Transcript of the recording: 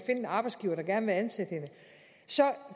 en arbejdsgiver der gerne vil ansætte hende så